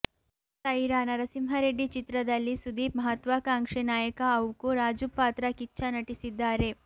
ಸೈರಾ ನರಸಿಂಹ ರೆಡ್ಡಿ ಚಿತ್ರದಲ್ಲಿ ಸುದೀಪ್ ಮಹತ್ವಾಕಾಂಕ್ಷೆ ನಾಯಕ ಅವುಕು ರಾಜು ಪಾತ್ರ ಕಿಚ್ಚ ನಟಿಸಿದ್ದಾರೆ